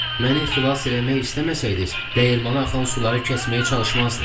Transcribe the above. Məni xilas eləmək istəməsəydiz, dəyirmana axan suları kəsməyə çalışmazdız.